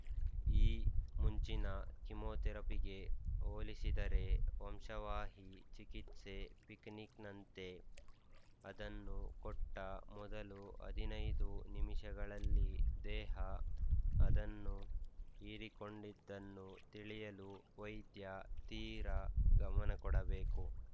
ಈ ಮುಂಚಿನ ಕೀಮೋಥೆರಪಿಗೆ ಹೋಲಿಸಿದರೆ ವಂಶವಾಹಿ ಚಿಕಿತ್ಸೆ ಪಿಕ್‍ನಿಕ್‍ನಂತೆ ಅದನ್ನು ಕೊಟ್ಟ ಮೊದಲು ಹದಿನೈದು ನಿಮಿಷಗಳಲ್ಲಿ ದೇಹ ಅದನ್ನು ಹೀರಿಕೊಂಡಿದ್ದನ್ನು ತಿಳಿಯಲು ವೈದ್ಯ ತೀರ ಗಮನಕೊಡಬೇಕು